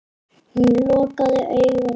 Hún lokaði augunum.